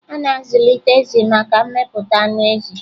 A na-azụlite ezì maka mmepụta anụ ezi.